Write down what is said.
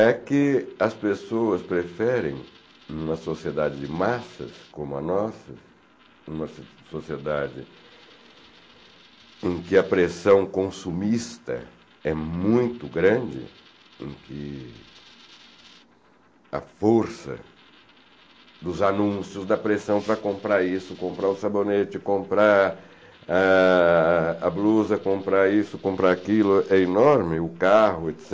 É que as pessoas preferem uma sociedade de massas como a nossa, uma sociedade em que a pressão consumista é muito grande, em que a força dos anúncios da pressão para comprar isso, comprar o sabonete, comprar ah a blusa, comprar isso, comprar aquilo é enorme, o carro,